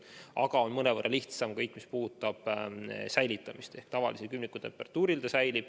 Aga mõnevõrra lihtsam on kõik see, mis puudutab säilitamist, ehk see vaktsiin säilib tavalisel külmikutemperatuuril.